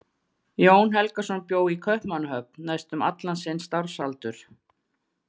Jón Helgason bjó í Kaupmannahöfn næstum allan sinn starfsaldur.